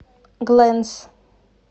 глэнс